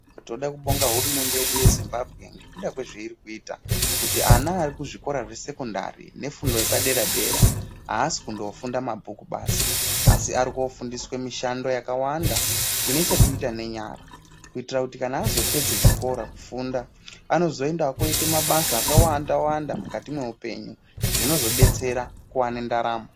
Toda kuvonga hurumende yedu yeZimbabwe ngekuda kwezvairikuita kuti ana varikuzvikora zvesecondary nefundo yepadera dera, haasi kunofunda mabhuku basi asi arikofundiswe mishando yakawanda inechekuita nenyara, kuitira kuti kana azopedza zvikora, kufunda anozoenda koite mabasa akawanda wanda mukati mehupenyu zvinozodetsera kuwane ntaramo.